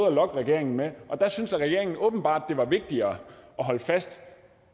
at lokke regeringen med og der syntes regeringen åbenbart det var vigtigere at holde fast